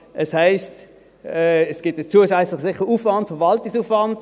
Es heisst, es gebe sicher einen zusätzlichen Verwaltungsaufwand.